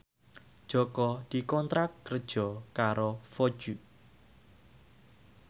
Jaka dikontrak kerja karo Vogue